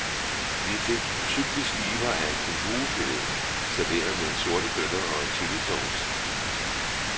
Vi fik tykke skiver af kænguru filet serveret med sorte bønner og chillisauce.